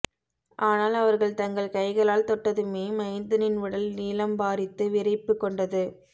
ஆனால் அவர்கள் தங்கள் கைகளால் தொட்டதுமே மைந்தனின் உடல் நீலம்பாரித்து விரைப்புகொண்டது